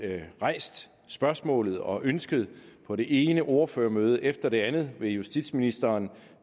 rejst spørgsmålet og ønsket på det ene ordførermøde efter det andet med justitsministeren